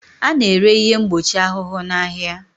A na-ere ihe mgbochi ahụhụ n'ahịa